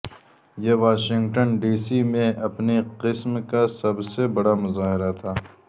یہ Washington D C میں اپنی قسم کا سب سے بڑا مظاہرہ تھا